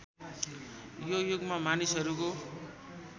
यो युगमा मानिसहरूको